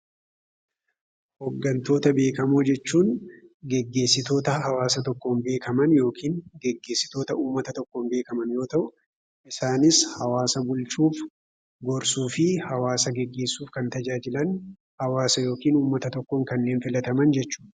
Hooggantoota beekamoo jechuun geggeessitoota hawaasa tokkoon beekaman yookin geggeessitoota uummata tokkoon beekaman yoo ta'u, isaanis hawaasa bulchuuf, gorsuu fi hawaasa gegeessuuf kan tajaajilan hawaasa yookin uummata tokkoon kanneen filataman jechiuudha.